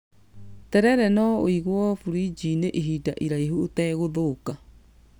Terere no ũigwo buriji-inĩ ihinda iraihu ũtegũthũka